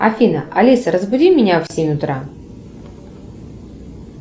афина алиса разбуди меня в семь утра